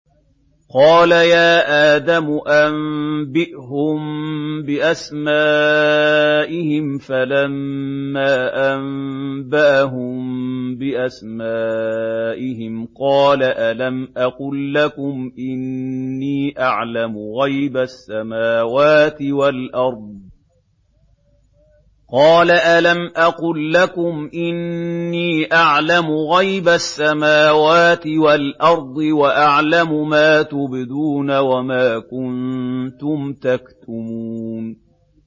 قَالَ يَا آدَمُ أَنبِئْهُم بِأَسْمَائِهِمْ ۖ فَلَمَّا أَنبَأَهُم بِأَسْمَائِهِمْ قَالَ أَلَمْ أَقُل لَّكُمْ إِنِّي أَعْلَمُ غَيْبَ السَّمَاوَاتِ وَالْأَرْضِ وَأَعْلَمُ مَا تُبْدُونَ وَمَا كُنتُمْ تَكْتُمُونَ